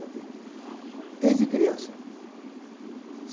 toda a vida. Desde criança.